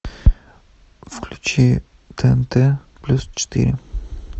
включи тнт плюс четыре